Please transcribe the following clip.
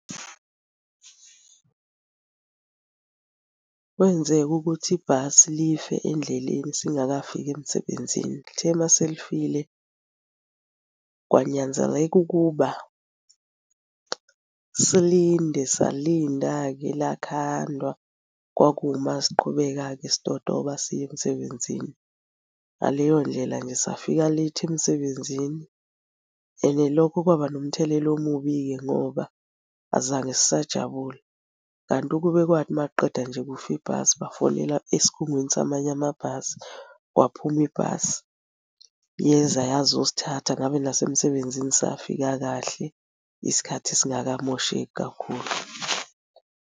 Kwenzeka ukuthi ibhasi life endleleni singakafiki emsebenzini. Lithe uma selifile kwanyanzeleka ukuba silinde, salinda-ke lakhandwa, kwakuma siqhubeka-ke sitotoba siya emsebenzini. Ngaleyo ndlela nje safika late emsebenzini and lokho kwaba nomthelela omubi-ke ngoba azange sisajabula kanti ukube kwathi uma kuqeda nje kufa ibhasi bafonela esikhungweni samanye amabhasi kwaphuma ibhasi yeza yazosithatha, ngabe nasemsebenzini safika kahle isikhathi singakamosheki kakhulu.